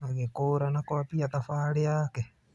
Agĩkũũra na kũambia thabarĩ yake.